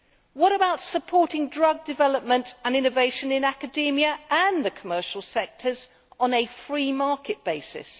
What about supporting drug development and innovation in academia and the commercial sectors on a free market basis?